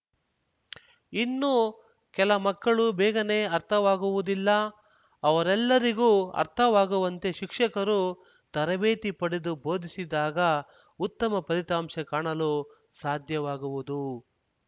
ಇನ್ನೂ ಕೆಲಮಕ್ಕಳು ಬೇಗನೆ ಅರ್ಥವಾಗುವುದಿಲ್ಲ ಅವರೆಲ್ಲರಿಗೂ ಅರ್ಥವಾಗುವಂತೆ ಶಿಕ್ಷಕರು ತರಬೇತಿ ಪಡೆದು ಬೋಧಿಸಿದಾಗ ಉತ್ತಮ ಫಲಿತಾಂಶ ಕಾಣಲು ಸಾಧ್ಯವಾಗುವುದು